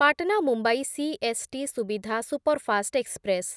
Patna Mumbai CST Suvidha superfast express